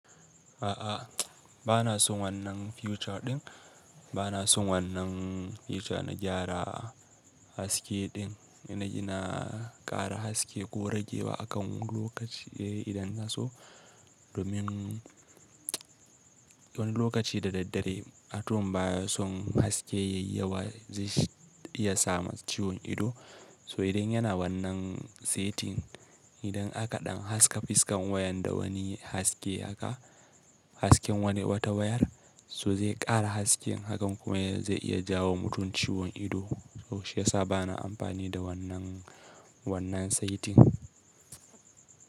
A'a, bana son wannan future ɗin. Bana son wannan feature na gyara haske ɗin, ina ƙara haske ko rage wa akan lokaci idan na so. Domin wani lokaci da daddare atom baya son haske yayi yawa zai iya sama ciwon ido. So idan yana wannan setting idan aka ɗan haska fiskan wayan da wani haske haka, hasken wata wayar so zai ƙara haske hakan kuma zai iya jawo mutum ciwon ido. So shi yasa bana amfani da wannan setting.